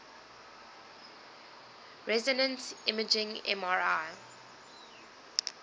resonance imaging mri